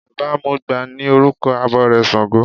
Baba mọgbà ni orúkọ abọrẹ̀ ṣàngó.